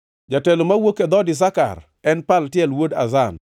jatelo mowuok e dhood Isakar, en Paltiel wuod Azan;